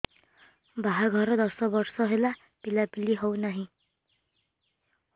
ବାହାଘର ଦଶ ବର୍ଷ ହେଲା ପିଲାପିଲି ହଉନାହି